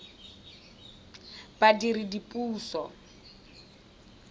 badiredipuso